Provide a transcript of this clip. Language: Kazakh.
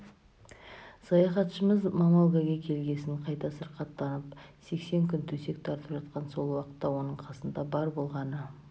саяхатшымыз мамогалге келгесін қайта сырқаттанып сексен күн төсек тартып жатқан сол уақытта оның қасында бар болғаны